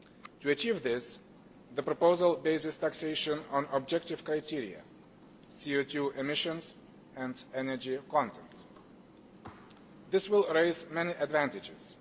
To achieve this, the proposal bases taxation on objective criteria CO 2 emissions and energy content. This will offer many advantages.